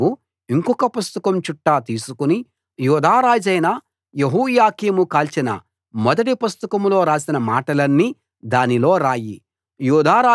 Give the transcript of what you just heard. నువ్వు ఇంకొక పుస్తకం చుట్ట తీసుకుని యూదా రాజైన యెహోయాకీము కాల్చిన మొదటి పుస్తకంలో రాసిన మాటలన్నీ దానిలో రాయి